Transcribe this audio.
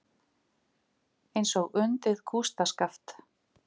Eins og undið kústskaft.